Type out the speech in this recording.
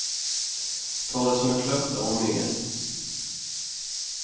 Ta det som ett löfte om mer.